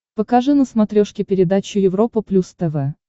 покажи на смотрешке передачу европа плюс тв